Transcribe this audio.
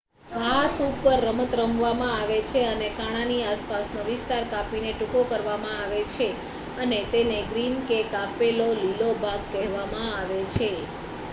ઘાસ ઉપર રમત રમવામાં આવે છે અને કાણાની આસપાસનો વિસ્તાર કાપીને ટૂંકો કરવામાં આવે છે અને તેને ગ્રીન કે કાપેલો લીલો ભાગ કહેવામાં આવે છે